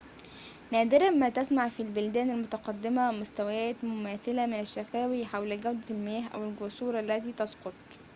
نادراً ما تسمع في البلدان المتقدمة مستويات مماثلة من الشكاوى حول جودة المياه أو الجسور التي تسقط